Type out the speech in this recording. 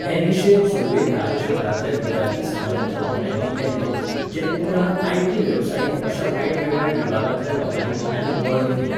हे निशेध सुरवेक राज्यभरांतल्या विद्यार्थी समाजाच्या वांगड्यांनी केल्ले, जे उपरांत आयटी वेवसायीक अशा वेगवेगळ्या विभागांतल्या लोकांनी आनीक बळगें दिलें.